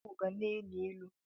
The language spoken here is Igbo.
Onugbo ga na-elu ilu.